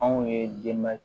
Anw ye denba